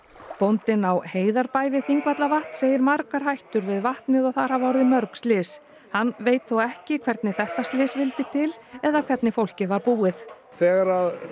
bóndinn á Heiðarbæ við Þingvallavatn segir margar hættur við vatnið og þar hafi orðið mörg slys hann veit þó ekki hvernig þetta slys vildi til eða hvernig fólkið var búið þegar